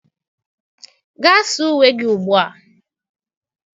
Gaa saa uwe gị ugbu a!